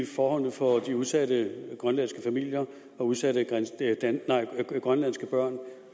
forholdene for de udsatte grønlandske familier og udsatte grønlandske børn